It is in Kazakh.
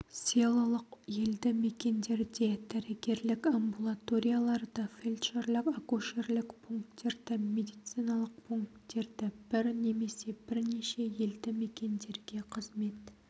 селолық елді мекендерде дәрігерлік амбулаторияларды фельдшерлік-акушерлік пункттерді медициналық пункттерді бір немесе бірнеше елді мекендерге қызмет